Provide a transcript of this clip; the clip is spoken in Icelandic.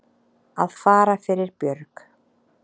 Að fara fyrir björg